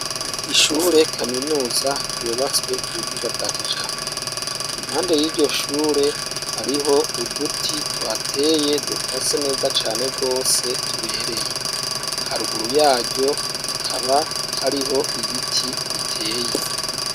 Ishure kaminuza ryubatswe ku buhinga bwa kijambere, impande y'iryo shure hariho uduti tuhateye dukase neza cane rwose tubereye, haruguru yaryo hakaba hariho ibiti biteye.